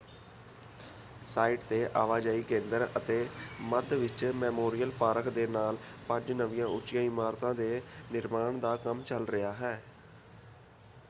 Site ‘ਤੇ ਆਵਾਜਾਈ ਕੇਂਦਰ ਅਤੇ ਮੱਧ ਵਿੱਚ ਮੈਮੋਰੀਅਲ ਪਾਰਕ ਦੇ ਨਾਲ ਪੰਜ ਨਵੀਆਂ ਉੱਚੀਆਂ ਇਮਾਰਤਾਂ ਦੇ ਨਿਰਮਾਣ ਦਾ ਕੰਮ ਚੱਲ ਰਿਹਾ ਹੈ।